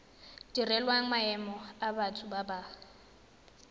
direlwang maemo a batho ba